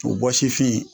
O bɔsifin